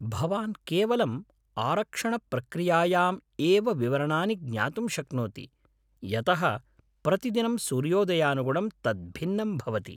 भवान् केवलम् आरक्षणप्रक्रियायाम् एव विवरणानि ज्ञातुं शक्नोति, यतः प्रतिदिनं सूर्योदयानुगुणं तत् भिन्नं भवति।